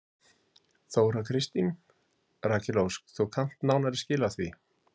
Þóra Kristín: Rakel Ósk þú kannt nánari skil á því?